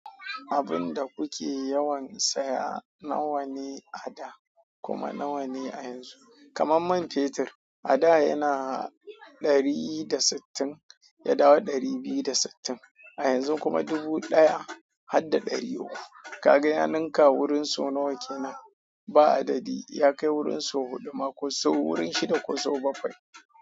Abinda kuke yawan saya nawane a da, kuma nawane a yanzu? Kaman man fetur, a da yana ɗari da sittin, ya dawo ɗari biyu da sittin, a yanzun kuma dubu ɗaya hadda ɗari uku. Ka ga ya ninka wurin sau nawa kenan? Ba adadi. Ya kai wurin sau huɗu ma ko sau wurin shida ko sau bakwai.